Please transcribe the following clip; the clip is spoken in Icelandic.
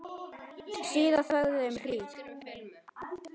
Síðan þögðu þau um hríð.